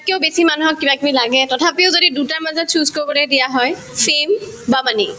বেছি মানুহক কিবাকিবি লাগে তথাপিও যদি দুয়োটাৰ মাজত choose কৰিবলৈ দিয়া হয় fame বা money